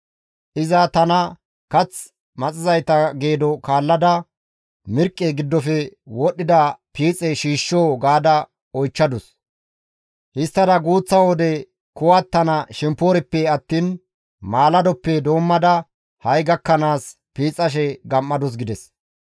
Iza tana, ‹Kath maxizayta geedo kaallada mirqqe giddofe wodhdhida piixe shiishshoo?› gaada oychchadus. Histtada guuththa wode kuwattana shempoorippe attiin maaladoppe doommada ha7i gakkanaas piixashe gam7adus» gides.